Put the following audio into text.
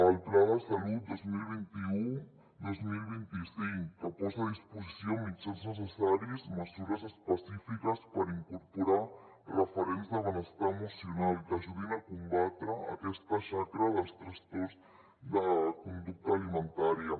el pla de salut dos mil vint u dos mil vint cinc que posa a disposició mitjans necessaris mesures específiques per incorporar referents de benestar emocional que ajudin a combatre aquesta xacra dels trastorns de conducta alimentària